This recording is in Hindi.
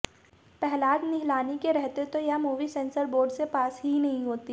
पहलाज़ निहलानी के रहते तो यह मूवी सेन्सर बोर्ड से पास ही नहीं होती